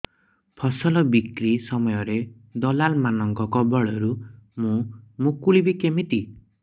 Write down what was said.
ଫସଲ ବିକ୍ରୀ ସମୟରେ ଦଲାଲ୍ ମାନଙ୍କ କବଳରୁ ମୁଁ ମୁକୁଳିଵି କେମିତି